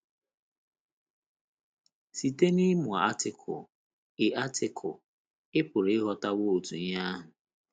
Site n’ịmụ Artịkụlụ, ị Artịkụlụ, ị pụrụ ịghọtawo otu ihe ahụ.